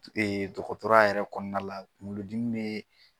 T dɔgɔtɔrɔya yɛrɛ kɔɔna la kuŋolodimi bee